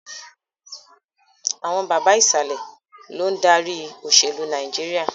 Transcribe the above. Àwọn bàbà Ìsàlẹ̀ lòun dárí òṣèlú Nàìjíríà